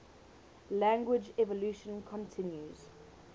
language evolution continues